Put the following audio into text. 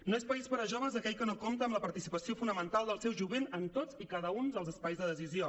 no és país per a joves aquell que no compta amb la participació fonamental del seu jovent en tots i cada un dels espais de decisió